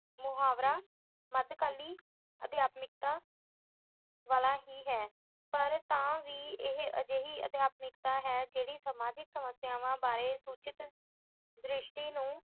ਮੁਹਾਵਰਾ ਮੱਧਕਾਲੀ ਅਧਿਆਤਮਕਤਾ ਵਾਲਾ ਹੀ ਹੈ। ਪਰ ਤਾਂ ਵੀ ਇਹ ਅਜਿਹੀ ਅਧਿਆਤਮਕਤਾ ਹੈ ਜਿਹੜੀ ਸਮਾਜਿਕ ਸਮੱਸਿਆਵਾਂ ਬਾਰੇ ਸੁਚੇਤ ਦ੍ਰਿਸ਼ਟੀ ਨੂੰ